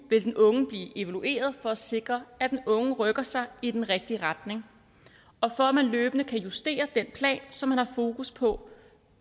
vil den unge blive evalueret for at sikre at den unge rykker sig i den rigtige retning og for at man løbende kan justere den plan som man har fokus på